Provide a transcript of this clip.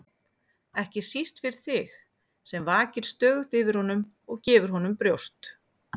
ekki síst fyrir þig sem vakir stöðugt yfir honum og gefur honum brjóst.